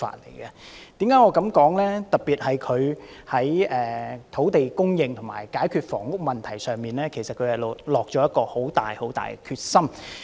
行政長官特別在土地供應和解決房屋問題方面，下了很大的決心。